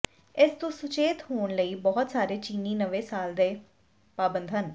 ਇਸ ਤੋਂ ਸਚੇਤ ਹੋਣ ਲਈ ਬਹੁਤ ਸਾਰੇ ਚੀਨੀ ਨਵੇਂ ਸਾਲ ਦੇ ਪਾਬੰਦ ਹਨ